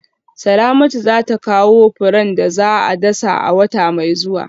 Salamatu za ta kawo furen da za a dasa a wata mai zuwa